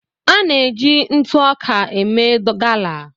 À na-eji ntụ ọka eme gala.